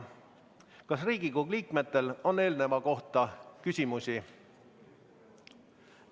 Kas Riigikogu liikmetel on eelneva kohta küsimusi?